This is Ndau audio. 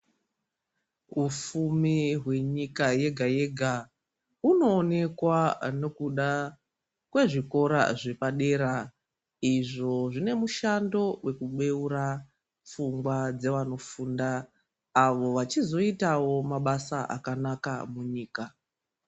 Ufumi hwenyika yega yega hunoonekwa nokuda kwezvikora zvepadera izvo zvine mushando wekubeura pfungwa dzevanofunda avo vachizoitao mabasa akanaka munyika.